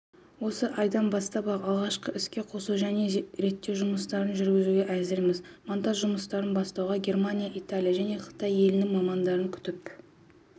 осы айдан бастап-ақ алғашқы іске қосу және реттеу жұмыстарын жүргізуге әзірміз монтаж жұмыстарын бастауға германия италия және қытай елінің мамандарын күтіп